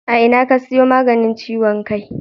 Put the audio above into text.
A ina ka siyo maganin ciwon kai?